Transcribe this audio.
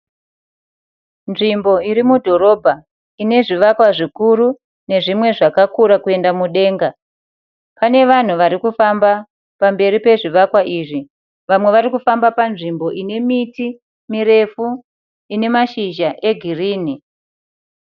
Nzvimbo irimudhorobha inezvikwa zvikuru nezvimwe zvakakura kuenda mudenga. Pane vanhu varikufamba pamberi pezvivakwa izvi. Vamwe varikufamba panzvimbo ine miti mirefu inemashizha egirinhi.